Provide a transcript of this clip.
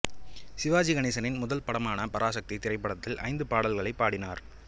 சிவாஜி கணேசனின் முதல் படமான பராசக்தி திரைப்படத்தில் ஐந்து பாடல்களைப் பாடினார்